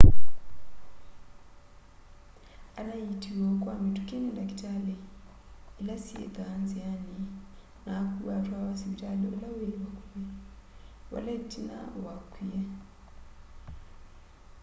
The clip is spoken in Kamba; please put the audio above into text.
anaiitiwe o kwa mituki ni ndakitali ila syithwaa nziani na akuwa atwawa sivitali ula wi vakuvi vala itina wakwie